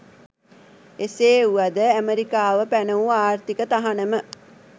එසේ වුවද ඇමෙරිකාව පැන වූ ආර්ථික තහනම